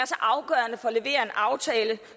levere en aftale